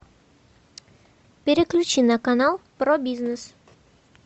переключи на канал про бизнес